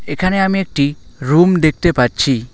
এখানে আমি একটি রুম দেখতে পাচ্ছি।